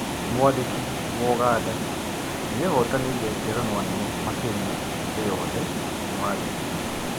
Mwandĩki wa Ũganda nĩehotanĩire ngerenwa nene makĩria thĩ yothe nĩ wandĩki